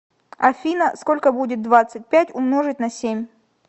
афина сколько будет двадцать пять умножить на семь